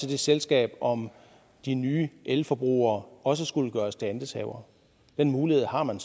det selskab om de nye elforbrugere også skulle gøres til andelshavere den mulighed har man